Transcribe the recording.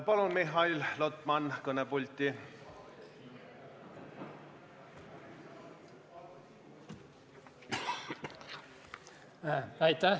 Palun, Mihhail Lotman, kõnepulti!